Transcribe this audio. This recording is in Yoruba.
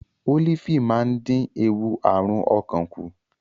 Ólífì máa ń dín ewu àrùn ọkàn kù.